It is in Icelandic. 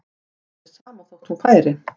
Var þér sama þótt hún færi?